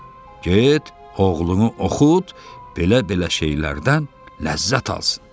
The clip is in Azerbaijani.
Get, oğlunu oxut, belə-belə şeylərdən ləzzət alsın.